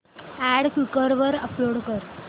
add Quikr वर upload कर